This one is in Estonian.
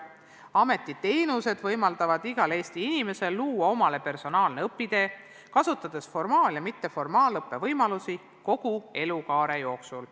Ameti teenused võimaldavad igal Eesti inimesel luua omale personaalse õpitee, kasutades formaal- ja mitteformaalõppe võimalusi kogu elukaare jooksul.